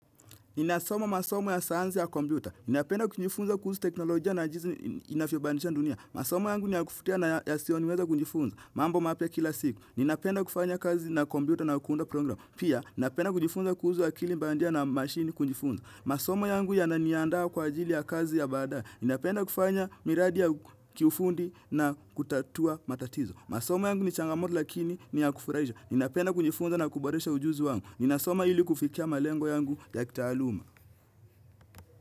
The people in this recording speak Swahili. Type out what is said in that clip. Ninasoma masomo ya sayansi ya kompyuta. Ninapenda kujifunza kuhusu teknolojia na jinsi inavyobadilisha dunia. Masomo yangu ni ya kuvutia na yasiyo niweza kujifunza. Mambo mapya kila siku. Ninapenda kufanya kazi na kompyuta na kuunda program. Pia, napenda kujifunza kuhusu akili bandia na mashini kujifunza. Masomo yangu yananiandaa kwa ajili ya kazi ya baadaye. Napenda kufanya miradi ya kiufundi na kutatua matatizo. Masomo yangu ni changamoto lakini ni ya kufurasisha. Ninapenda kujifunza na kuboresha ujuzi wangu, ninasoma ili kufikia malengo yangu ya kitaaluma.